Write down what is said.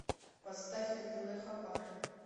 поставь на тв хабар